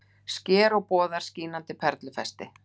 Sker og boðar: skínandi perlufesti.